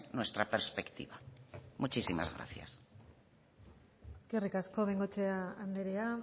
nuestra perspectiva muchísimas gracias eskerrik asko de bengoechea andrea